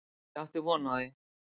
Ég átti von á því.